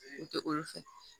O tɛ olu fɛ